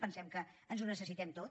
pensem que ho necessitem tot